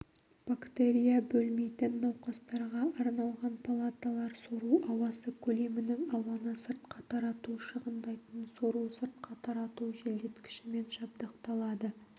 бактерия бөлмейтін науқастарға арналған палаталар сору ауасы көлемінің ауаны сыртқа тарату шығындайтын сору-сыртқа тарату желдеткішімен жабдықталады